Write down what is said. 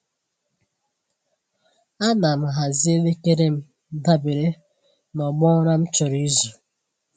Ana m hazie elekere m dabere n’ọgbọ ụra m chọrọ izu.